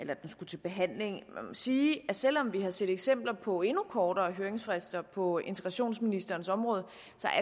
det skulle til behandling man sige at selv om vi har set eksempler på endnu kortere høringsfrister på integrationsministerens område